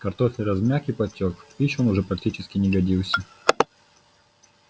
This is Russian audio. картофель размяк и потёк в пищу он уже практически не годился